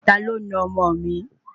Taló na ọmọ òn mi?